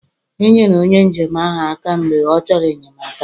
Enyere onye njem ahụ aka mgbe ọ chọrọ enyemaka